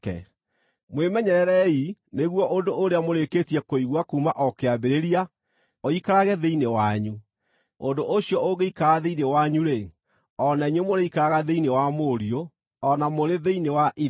Mwĩmenyererei nĩguo ũndũ ũrĩa mũrĩkĩtie kũigua kuuma o kĩambĩrĩria ũikarage thĩinĩ wanyu. Ũndũ ũcio ũngĩikara thĩinĩ wanyu-rĩ, o na inyuĩ mũrĩikaraga thĩinĩ wa Mũriũ, o na mũrĩ thĩinĩ wa Ithe.